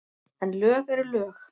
En lög eru lög.